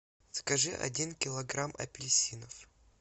закажи один килограмм апельсинов